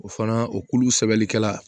O fana o kulu sɛbɛnlikɛla